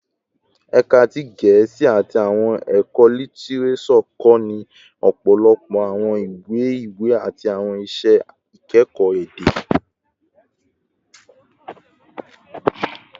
Ẹka ti Gẹẹsi ati Awọn ẹkọ Litireso kọni ọpọlọpọ awọn iwe-iwe ati awọn iṣẹ ikẹkọ ede